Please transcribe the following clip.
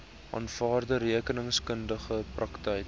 aanvaarde rekeningkundige praktyk